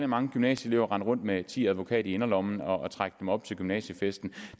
mange gymnasieelever rende rundt med ti advokat i inderlommen og trække dem op til gymnasiefesten